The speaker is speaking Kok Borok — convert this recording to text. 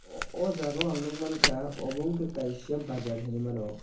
o jaga o ang nogoimangkha obo wngka kaisa bazar hinui mano.